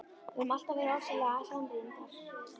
Við höfum alltaf verið ofsalega samrýndar.